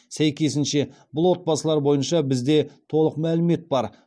сәйкесінше бұл отбасылар бойынша бізде толық мәлімет бар